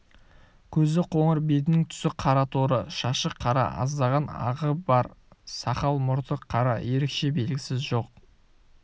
көзі қоңыр бетінің түсі қара торы шашы қара аздаған ағы бар сақал-мұрты қара ерекше белгісі сол